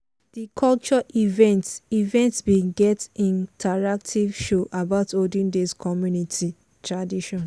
di cultural event event bin get interactive show about olden days community tradition.